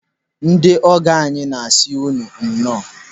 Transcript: Ndị ọgọ, anyị na-asị unu nnọọ.